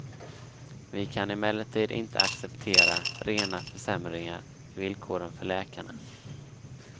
Vi kan emellertid inte acceptera rena försämringar i villkoren för läkarna.